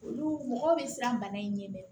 Olu mɔgɔ bɛ siran bana in ɲɛ